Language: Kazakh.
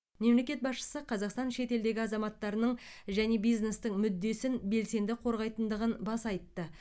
мемлекет басшысы қазақстан шетелдегі азаматтарының және бизнестің мүддесін белсенді қорғайтындығын баса айтты